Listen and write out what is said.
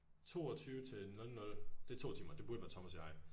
22 til 00 det er to timer det burde være Thomas og jeg